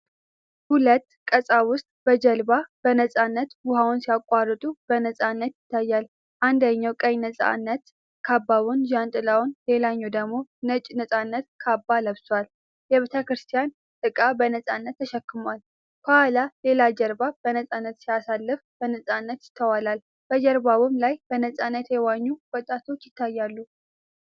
ሁለት ቀሳውስት በጀልባ በነፃነት ውኃውን ሲያቋርጡ በነፃነት ይታያል:: አንደኛው ቀይ ነፃነት ካባና ዣንጥላ፣ ሌላኛው ደግሞ ነጭ ነፃነት ካባ ለብሷል::የቤተ ክርስቲያን ዕቃ በነፃነት ተሸክመዋል::ከኋላ ሌላ ጀልባ በነፃነት ሲንሳፈፍ በነፃነት ይስተዋላል፤ በጀልባውም ላይ በነፃነት የዋኙ ወጣቶች ይታያሉ።